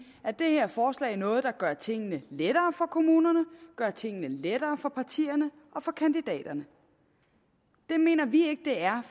er det her forslag noget der gør tingene lettere for kommunerne og gør tingene lettere for partierne og for kandidaterne det mener vi ikke det er